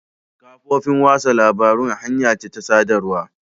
Kafofin watsa labarun hanya ce ta sadarwa.